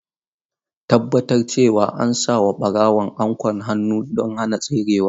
Tabbatar cewa an sa wa barawon anƙwan hannu don hana tserewa.